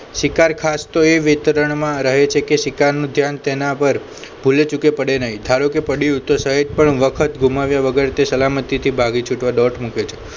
શિકાર ખાસ તો એ વિતરણમાં રહે છે કે શિકારનું ધ્યાન તેના પર ભુલેચુકે પડે નહીં ધારો કે પડ્યું તો સહેજ પણ વખત ગુમાવ્યા વગર તે સલામતી થી ભાગી છુટવા ડોટ મૂકે છે